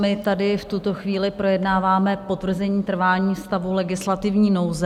My tady v tuto chvíli projednáváme potvrzení trvání stavu legislativní nouze.